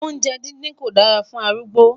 oúnjẹ dindin kò dára fún arúgbó